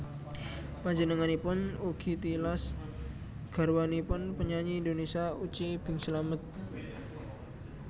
Panjenenganipun ugi tilas garwanipun penyanyi Indonesia Uci Bing Slamet